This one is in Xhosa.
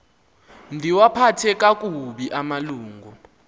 ndiwaphathe kakubi amalungu